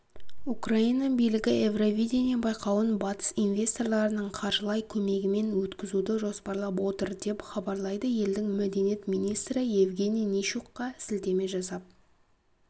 украина билігі евровидение байқауын батыс инвесторларының қаржылай көмегімен өткізуді жоспарлап отыр деп хабарлайды елдің мәдениет министрі евгений нищукқа сілтеме жасап